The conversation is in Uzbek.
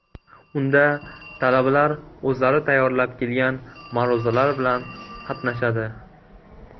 Unda talabalar o‘zlari tayyorlab kelgan ma’ruzalari bilan qatnashadi.